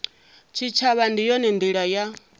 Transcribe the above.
tshitshavha ndi yone ndila ya